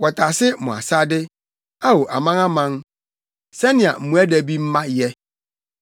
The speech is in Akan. Wɔtase mo asade, Ao amanaman, sɛnea mmoadabimma yɛ; nnipa tow hyɛ so te sɛ mmoadabi dɔm.